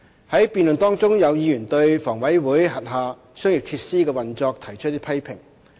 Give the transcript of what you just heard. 在辯論中，有議員對房委會轄下商業設施的運作提出批評。